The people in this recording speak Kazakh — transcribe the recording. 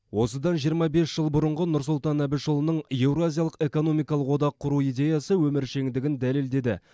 осыдан жиырма бес жыл бұрынғы нұрсұлтан әбішұлының еуразиялық экономикалық одақ құру идеясы өміршеңдігін дәлелдеді